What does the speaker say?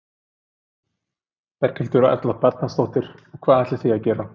Berghildur Erla Bernharðsdóttir: Og hvað ætlið þið að gera?